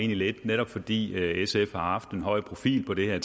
lidt netop fordi sf har haft en høj profil på det her